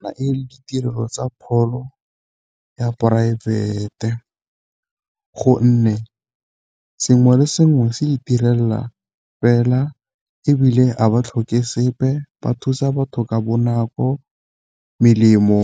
Fa e le ditirelo tsa pholo ya poraefete gonne sengwe le sengwe se itirela fela, ebile ga ba tlhoke sepe ba thusa batho ka bonako. Melemo